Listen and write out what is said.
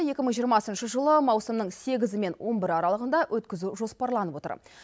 екі мың жиырмасыншы жылы маусымның сегізі мен он бірі аралығында өткізу жоспарланып отыр